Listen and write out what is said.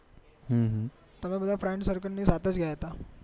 તમે તમારા friend circle ની સાથે જ ગયા તા